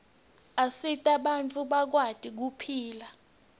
asita bantfu bakwati kuphila